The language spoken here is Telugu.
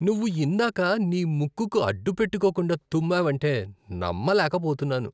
నువ్వు ఇందాక నీ ముక్కుకు అడ్డుపెట్టుకోకుండా తుమ్మావంటే నమ్మలేకపోతున్నాను.